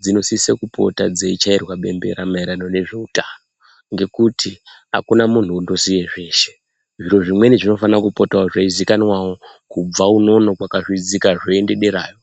dzinosise kupota dzeichairwa bembera maererano ngezveutano ngekuti akuna muntu unoziya zveshe. Zviro zvimweni zvinofana kupota zveizikanwawo kubva unono kwakazvidzika zveienda dereyo.